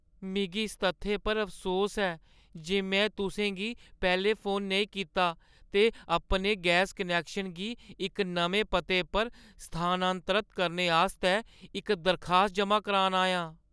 मिगी इस तत्थै पर अफसोस ऐ जे में तुसें गी पैह्‌लें फोन नेईं कीता ते अपने गैस कनैक्शन गी इक नमें पते पर स्थानांतरत करने आस्तै इक दरखास्त जमा करान आई आं।